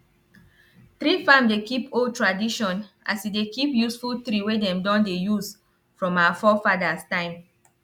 tree farm dey keep old tradition as e dey keep useful tree wey dem don dey use from our forefathers time